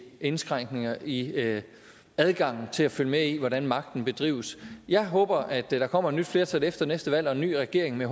indskrænkninger i adgangen til at følge med i hvordan magten bedrives jeg håber at der kommer et nyt flertal efter næste valg og en ny regering men